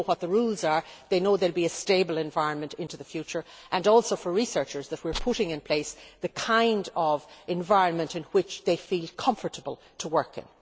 They know what the rules are and they know there will be a stable environment into the future. Also for researchers, they know that we are putting in place the kind of environment in which they feel comfortable working.